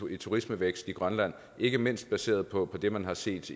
i turismevækst i grønland ikke mindst baseret på det man har set